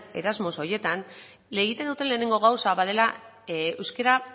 erasmus horietan egiten duten lehenengo gauza bat dela euskara